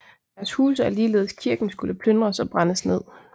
Deres huse og ligeledes kirken skulle plyndres og brændes ned